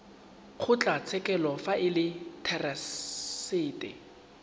kgotlatshekelo fa e le therasete